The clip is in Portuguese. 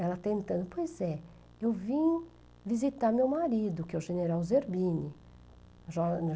Ela tentando, pois é, eu vim visitar meu marido, que é o general Zerbini.